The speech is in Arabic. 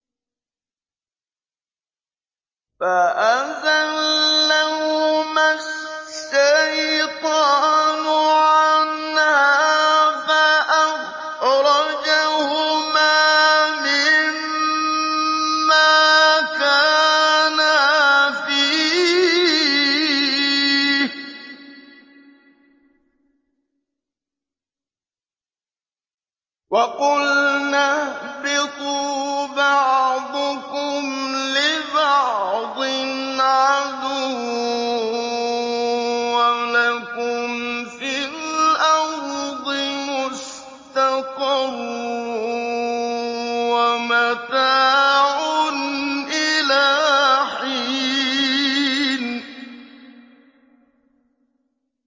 فَأَزَلَّهُمَا الشَّيْطَانُ عَنْهَا فَأَخْرَجَهُمَا مِمَّا كَانَا فِيهِ ۖ وَقُلْنَا اهْبِطُوا بَعْضُكُمْ لِبَعْضٍ عَدُوٌّ ۖ وَلَكُمْ فِي الْأَرْضِ مُسْتَقَرٌّ وَمَتَاعٌ إِلَىٰ حِينٍ